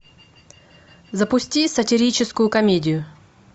запусти сатирическую комедию